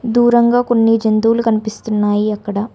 దూరంగా కొన్ని జంతువులు కనిపిస్తున్నాయి అక్కడ